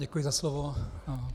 Děkuji za slovo.